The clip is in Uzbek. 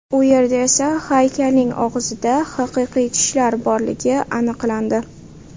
U yerda esa haykalning og‘zida haqiqiy tishlar borligi aniqlandi.